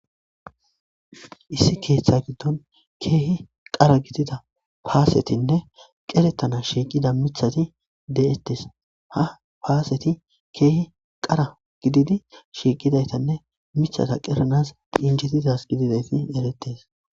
Issi keeththa giddon keehi qara gidida paasetinne qerettana shiiqida mithati de7ettes ha paaseti keehi qara gididi shiiqidaytanne miththata qeranas injetidasa gididayti eretes.